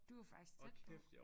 Du var faktisk tæt på